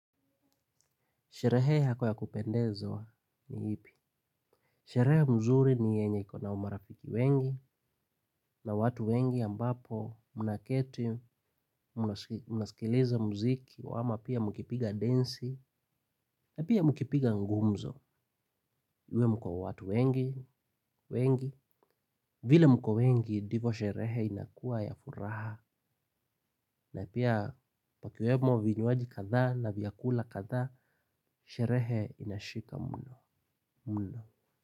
Sherehe yako ya kupendezwa ni ipi. Sherehe mzuri ni yenye iko na marafiki wengi, na watu wengi ambapo, mnaketi, mnasikiliza muziki, wa ama pia mkipiga densi, na pia mkipiga gumzo. Uwe mko watu wengi, wengi, vile mko wengi, ndivo sherehe inakuwa ya furaha. Na pia, pakiwemo vinywaji kadhaa na vyakula kadhaa, sherehe inashika mno.